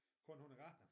Konen hun er gartner